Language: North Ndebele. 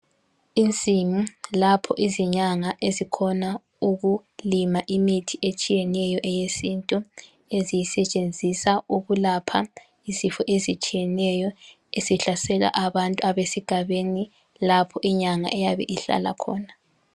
Insimu lapho izinyanga ezikhona ukulima imithi etshiyeneyo eyesintu eziyisetshenzisa ukulapha izifo ezitshiyeneyo ezihlasela abantu abesigabeni lapho inyanga eyabe ihlala khona.